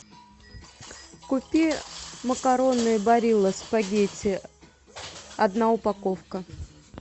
купи макароны барилла спагетти одна упаковка